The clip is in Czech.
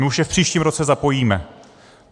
My už je v příštím roce zapojíme.